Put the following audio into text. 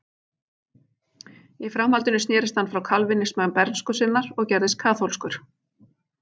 Í framhaldinu snerist hann frá kalvínisma bernsku sinnar og gerðist kaþólskur.